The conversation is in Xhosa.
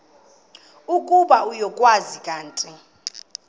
ukuba uyakwazi kanti